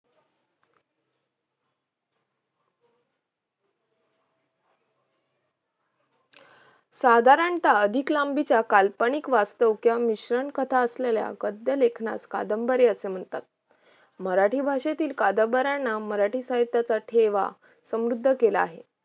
साधारणतः अधिक लांबीचा काल्पनिक, वास्तव किंवा मिश्रण कथा असलेल्या गद्य लेखनास कादंबरी असे म्हणतात. मराठी भाषेतील कादंबऱ्यांना मराठी साहित्याचा ठेवा समृद्ध केला आहे.